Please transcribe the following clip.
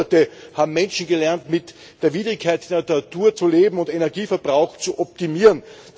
Über Jahrhunderte haben Menschen gelernt, mit der Widrigkeit der Natur zu leben und Energieverbrauch zu optimieren.